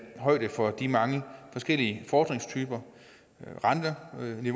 højde for de mange forskellige fordringstyper